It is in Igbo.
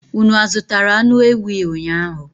Unu azụtara anụ ewii ụnyaahụ?